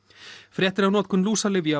fréttir af notkun